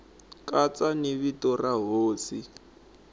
katsa ni vito ra hosi